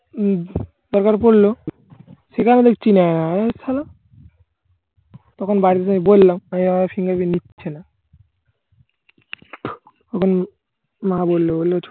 উম দরকার পড়ল। সেখানে দেখছি নেয় না তখন বাড়ি যেয়ে আমি বললাম fingerprint নিচ্ছে না। তখন মা বললো ওরে